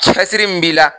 Cɛsiri min b'i la